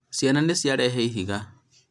ciana nĩciarehe ihiga